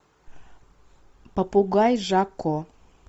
попугай жако